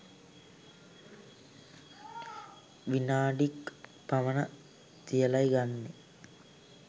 විනාඩි ක් පමණ තියලයි ගන්නේ.